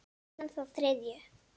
Síðan þá þriðju.